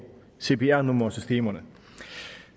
cpr nummersystemerne